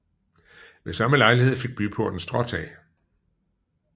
Ved samme lejlighed fik byporten stråtag